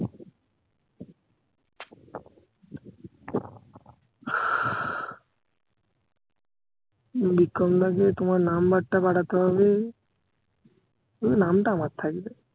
বিক্রমদাকে তোমার number টা পাঠাতে হবে শুধু নামটা আমার থাকবে